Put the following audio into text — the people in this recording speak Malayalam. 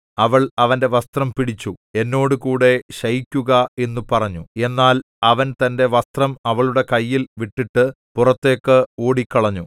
അവൾ അവന്റെ വസ്ത്രം പിടിച്ചു എന്നോട് കൂടെ ശയിക്കുക എന്നു പറഞ്ഞു എന്നാൽ അവൻ തന്റെ വസ്ത്രം അവളുടെ കയ്യിൽ വിട്ടിട്ട് പുറത്തേക്ക് ഓടിക്കളഞ്ഞു